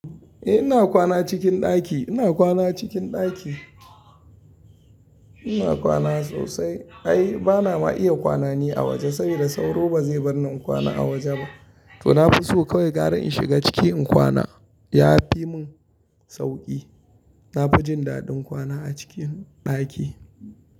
Eh ina kwana cikin ɗaki, ina kwana cikin ɗaki. Ina kwana sosai. Ai bana ma iya kwana ni a waje saboda sauro bazai bar ni in kwana a waje ba. To na fi so kawai gara in shiga ciki in kwana. Ya fi mun sauki. Na fi jin daɗin kwana a cikin ɗaki.